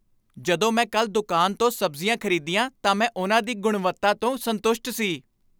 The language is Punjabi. ਜਦੋਂ ਮੈਂ ਕੱਲ੍ਹ ਦੁਕਾਨ ਤੋਂ ਸਬਜ਼ੀਆਂ ਖ਼ਰੀਦੀਆਂ ਤਾਂ ਮੈਂ ਉਨ੍ਹਾਂ ਦੀ ਗੁਣਵੱਤਾ ਤੋਂ ਸੰਤੁਸ਼ਟ ਸੀ।